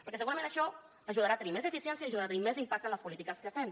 perquè segurament això ajudarà a tenir més eficiència i ajudarà a tenir més impacte en les polítiques que fem